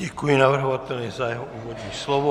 Děkuji navrhovateli za jeho úvodní slovo.